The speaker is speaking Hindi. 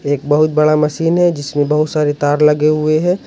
एक बहुत बड़ा मशीन है जिसमें बहुत सारे तार लगे हुए हैं।